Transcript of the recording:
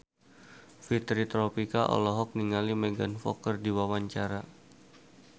Fitri Tropika olohok ningali Megan Fox keur diwawancara